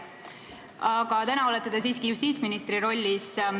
Aga täna te olete siiski justiitsministri rollis.